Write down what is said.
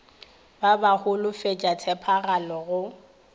ba ba holofetša tshepagalo go